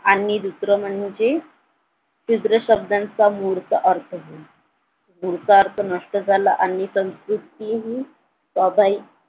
आणि दुसरं म्हणजे शूद्र शब्दांचा मूर्त मूळचा होय मूळचा अर्थ नष्ट झाला आणि संस्कृतीही